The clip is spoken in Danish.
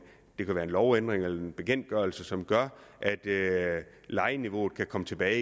en lovændring eller en bekendtgørelse som gør at lejeniveauet kan komme tilbage